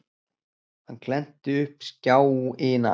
Hann glennti upp skjáina.